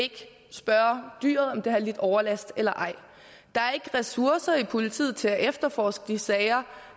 spørge dyret om det har lidt overlast eller ej der er ikke ressourcer i politiet til at efterforske de sager